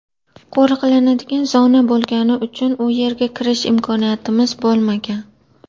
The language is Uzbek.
qo‘riqlanadigan zona bo‘lgani uchun u yerga kirish imkoniyatimiz bo‘lmagan.